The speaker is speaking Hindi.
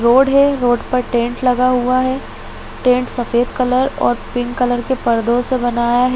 रोड है रोड पर टेंट लगा हुआ है टेंट सफ़ेद कलर और पींक कलर के पर्दो से बनाया है।